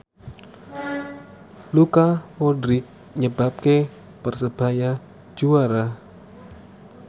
Luka Modric nyebabke Persebaya juara